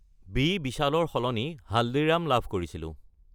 B Bishal ৰ সলনি হালদিৰাম্ছ লাভ কৰিছিলোঁ।